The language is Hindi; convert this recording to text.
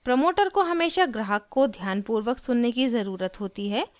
प्रमोटर को हमेशा ग्राहक को ध्यानपूर्वक सुनने की ज़रुरत होती है